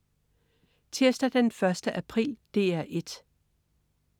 Tirsdag den 1. april - DR 1: